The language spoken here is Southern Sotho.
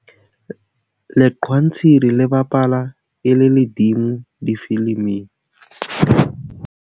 leqhwantshiri le bapala e le ledimo difiliming